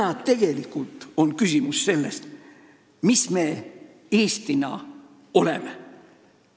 Täna on tegelikult küsimus selles, mis me Eestina oleme.